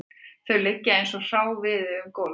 Þau liggja eins og hráviði um gólfið